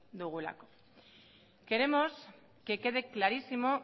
dugu queremos que quede clarísimo